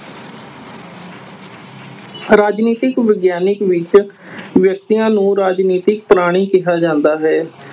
ਰਾਜਨੀਤਿਕ ਵਿਗਿਆਨਕ ਵਿੱਚ ਵਿਅਕਤੀਆਂ ਨੂੰ ਰਾਜਨੀਤਿਕ ਪ੍ਰਾਣੀ ਕਿਹਾ ਜਾਂਦਾ ਹੈ।